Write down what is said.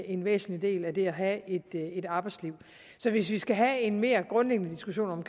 en væsentlig del af det at have et arbejdsliv så hvis vi skal have en mere grundlæggende diskussion